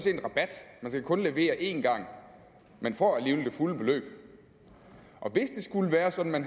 er en rabat man skal kun levere én gang men får alligevel det fulde beløb hvis det skulle være sådan at